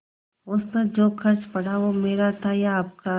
उस पर जो खर्च पड़ा वह मेरा था या आपका